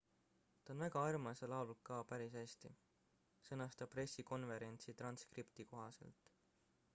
ta on väga armas ja laulab ka päris hästi sõnas ta pressikonverentsi transkripti kohaselt